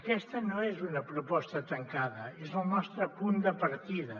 aquesta no és una proposta tancada és el nostre punt de partida